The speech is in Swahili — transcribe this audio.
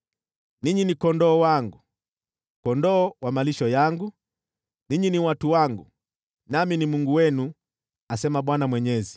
Ninyi ni kondoo wangu, kondoo wa malisho yangu, ninyi ni watu wangu, nami ni Mungu wenu, asema Bwana Mwenyezi.’ ”